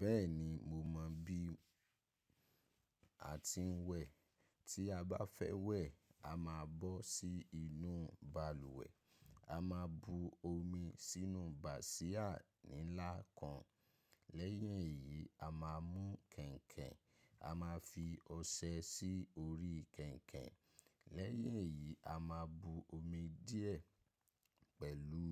Bẹ́ẹ̀ni, mo mọ̀ bí a ti ń wẹ̀. Tí a bá fẹ́ wẹ̀, a máa bọ́ sí inú balùwẹ̀, a máa bu omi sínú bàsíà nílá kan. Lẹ́yìn èyí, a máa mú kẹ̀ǹkẹ̀, a máa fi ọṣẹ sí orí kẹ̀ǹkẹ̀. Lẹ́yìn èyí, a máa bu omi díẹ̀ pẹ̀lú